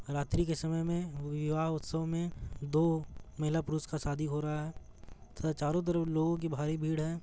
रात्रि के समय में विवाह उत्सव में दो महिला पुरुष का शादी हो रहा है तथा चारो तरफ लोगो की भारी भीड़ है।